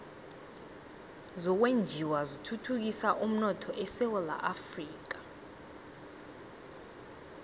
zokwenjiwa zithuthukisa umnotho esewula afrika